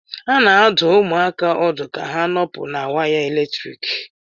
A na-adụ ụmụaka ọdụ ka ha nọpụ na waya eletrik